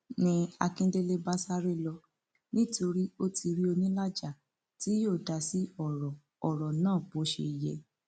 ni akíndélé bá sáré lọ nítorí ó ti rí onílàjà tí yóò dá sí ọrọ ọrọ náà bó ṣe yẹ